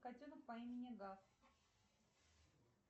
котенок по имени гав